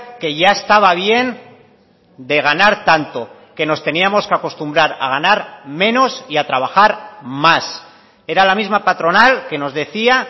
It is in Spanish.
que ya estaba bien de ganar tanto que nos teníamos que acostumbrar a ganar menos y a trabajar más era la misma patronal que nos decía